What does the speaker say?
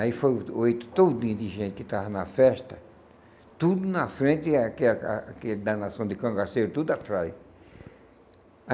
Aí foram oito, todinho de gente que estava na festa, tudo na frente e aquela a aquele da nação de cangaceiros tudo atrás.